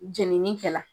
Jenini kɛla